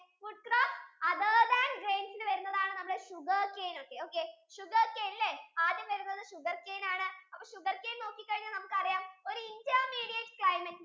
food crops other than grains യിൽ വരുന്നതാണ് sugarcane ഒക്കെ sugarcane അല്ലെ ആദ്യം വരുന്നത് sugarcane ആണ് sugarcane നോക്കിക്കഴിഞ്ഞാൽ നമുക്ക് അറിയാം ഒരു intermediate climate